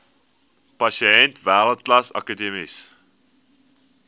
pasiënte wêreldklas akademiese